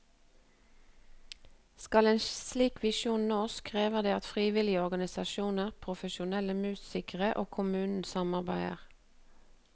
Skal en slik visjon nås, krever dette at frivillige organisasjoner, profesjonelle musikere og kommunen samarbeider.